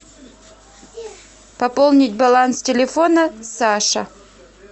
пополнить баланс телефона саша